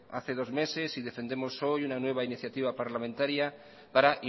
hace dos meses y defendemos hoy una nueva iniciativa parlamentaria para